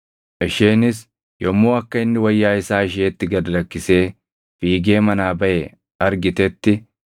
Isheenis yommuu akka inni wayyaa isaa isheetti gad lakkisee fiigee manaa baʼe argitetti,